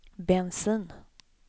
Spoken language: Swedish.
bensin